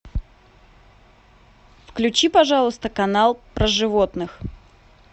включи пожалуйста канал про животных